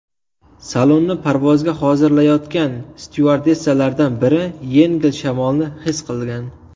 Salonni parvozga hozirlayotgan styuardessalardan biri yengil shamolni his qilgan.